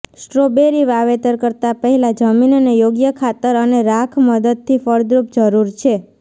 strawberry વાવેતર કરતા પહેલાં જમીનને યોગ્ય ખાતર અને રાખ મદદથી ફળદ્રુપ જરૂર છે